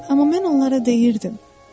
Amma mən onlara deyirdim: